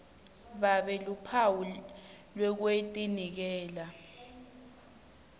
babe luphawu lwekutinikela